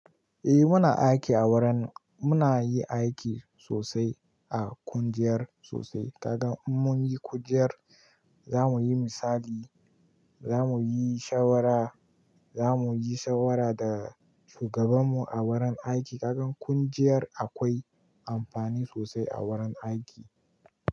Eh muna aiki a wurin. Muna yi aiki sosai a kungiyar sosai. Kaga in mun yi kujer za mu yi misali, za mu yi shawara, za mu yi shawara da shugaban mu a wurin aiki. Kakan kungiyar akwai amfani sosai a wurin aiki.